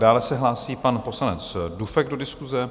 Dále se hlásí pan poslanec Dufek do diskuse.